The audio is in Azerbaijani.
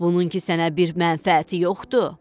Bunun ki sənə bir mənfəəti yoxdur.